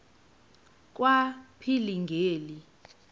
kwaphilingile